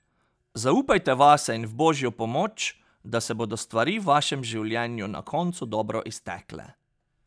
Zaupajte vase in v Božjo pomoč, da se bodo stvari v vašem življenju na koncu dobro iztekle.